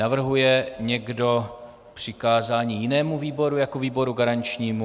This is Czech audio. Navrhuje někdo přikázání jinému výboru jako výboru garančnímu?